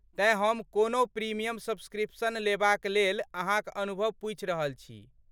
तेँ हम कोनहु प्रिमियम सब्सक्रिप्शन लेबाकलेल अहाँक अनुभव पुछि रहल छी।